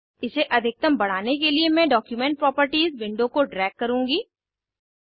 इसे अधिकतम बढ़ाने के लिए मैं डॉक्यूमेंट प्रॉपर्टीज विंडो को ड्रैग करुँगी